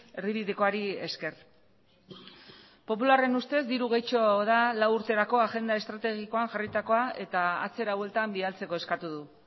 erdibidekoari esker popularren ustez diru gehitxo da lau urterako agenda estrategikoan jarritakoa eta atzera bueltan bidaltzeko eskatu du